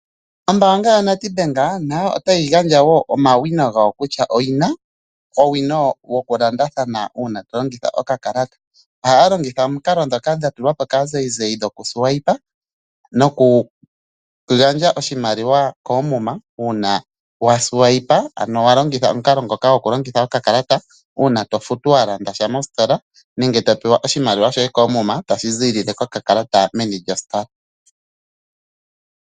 Ombanga yaNedbank nayobotayi gandja omawina gawo kutya oyi na owino woku landathana una tolongitha oka kalata. Oha ya longitha omikalo dhoka dhatu lwapo ka zayizayi goku swipa noku gandja oshimaliwa komuma. Una wa swipa ano wa longitha omukalo ngoka go ku longitha oka kalata una tofutu walandasha mostola nenge topewa oshimaliwa shoye komuma tashi zi lile koka kalata meni lyo Standardbank.